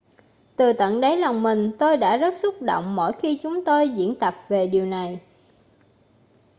từ tận đáy lòng mình tôi đã rất xúc động mỗi khi chúng tôi diễn tập về điều này